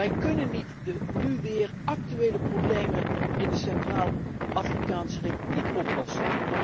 Wij kunnen niet de nu weer actuele problemen in de Centraal Afrikaanse Republiek oplossen.